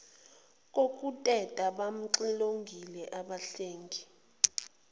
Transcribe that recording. kokuteta bamxilongile abahlengi